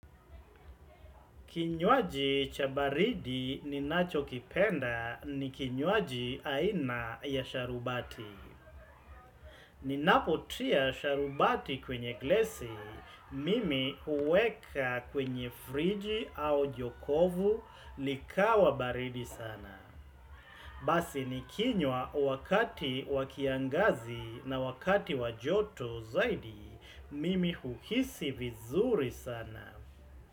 Kinywaji cha baridi ninachokipenda ni kinywaji aina ya sharubati. Ninapotia sharubati kwenye glesi, mimi huweka kwenye friji au jokofu likawa baridi sana. Basi nikinywa wakati wa kiangazi na wakati wa joto zaidi, mimi huhisi vizuri sana.